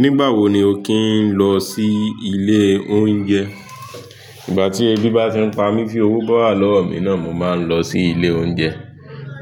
Nígbà wo ni o kì ń lọ sí ilé oúnjẹ? Ìgbà tí ebi bá ti ń pa mí, fi owó bá wà lọ́wọ́ mi náà, mo máa ń lọ sí ilé oúnjẹ.